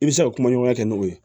I bɛ se ka kumaɲɔgɔnya kɛ n'o ye